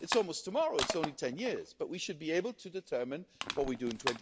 It's almost tomorrow, it's only 10 years, but we should be able to determine what we do in